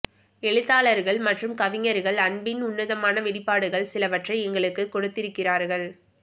எழுத்தாளர்கள் மற்றும் கவிஞர்கள் அன்பின் உன்னதமான வெளிப்பாடுகள் சிலவற்றை எங்களுக்கு கொடுத்திருக்கிறார்கள்